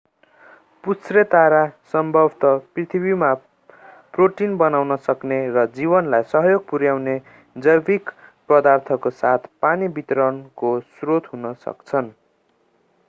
पुच्छ्रेतारा सम्भवतः पृथ्वीमा प्रोटिन बनाउन सक्ने र जीवनलाई सहयोग पुर्‍याउने जैविक पदार्थको साथै पानी वितरणको स्रोत हुन सक्छन्।